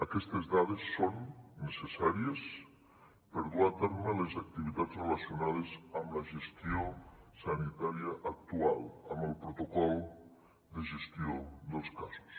aquestes dades són necessàries per dur a terme les activitats relacionades amb la gestió sanitària actual amb el protocol de gestió dels casos